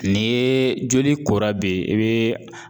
Ni ye joli kora be yen i bi